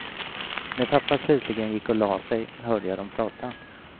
När pappa slutligen gick och lade sig, hörde jag dem prata.